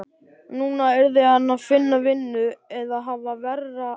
Núna yrði hann að finna vinnu eða hafa verra af.